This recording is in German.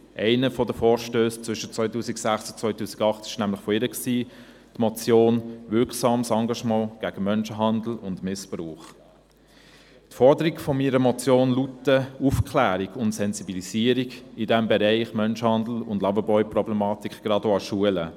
Zwischen 2006 und 2008 kam von ihr ein entsprechender Vorstoss, die Motion «Wirksames Engagement gegen Menschenhandel und Missbrauch» Die Forderungen meiner Motion lauten Aufklärung und Sensibilisierung im Bereich Menschenhandel und Loverboy-Problematik, gerade auch an Schulen.